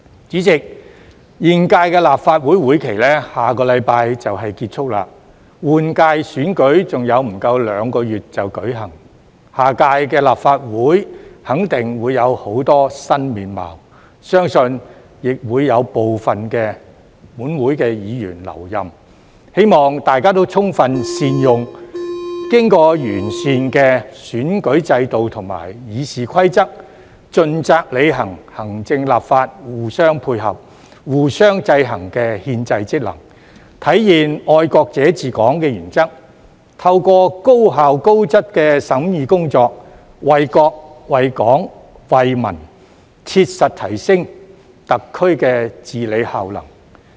主席，現屆立法會會期在下星期便結束，換屆選舉還有不足兩個月便舉行，下屆立法會肯定會有很多新面貌，相信亦會有部分本會議員留任，希望大家充分善用經過完善的選舉制度及《議事規則》，盡責履行行政立法互相配合、互相制衡的憲制職能，體現"愛國者治港"的原則，透過高效高質的審議工作，為國、為港、為民切實提升特區的治理效能。